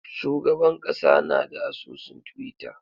Shugaban kasa na da asusun twitter.